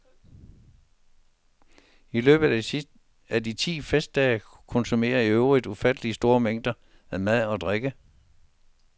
I løbet af de ti festdage konsumeres iøvrigt ufatteligt store mængder af mad og drike.